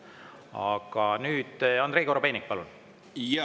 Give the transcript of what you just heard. Aga nüüd Andrei Korobeinik, palun!